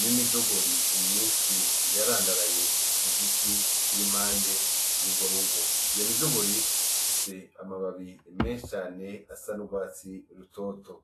n'imijogori myinshi ,yarandaraye kugiti kiri impande yurwo rugo; iyo mijogori ifise amababi menshi cane y'urwatsi rutoto.